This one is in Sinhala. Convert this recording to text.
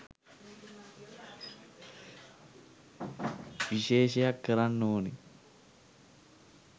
විශේෂයක් කරන්න ඕනේ.